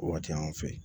O waati y'an fɛ yen